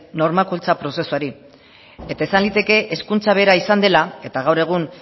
normalkuntza prozesuari eta esan liteke hezkuntza bera izan dela eta gaur egun